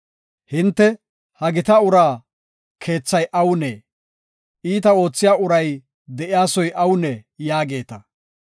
Hinte, ‘He gita uraa keethay awunee? Iita oothiya uray de7iya soy awunee?’ yaageeta.